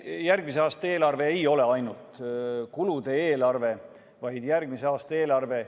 Järgmise aasta eelarve ei ole ainult kulude eelarve, vaid järgmise aasta eelarve.